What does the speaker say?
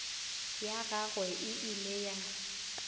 ya gagwe e ile ya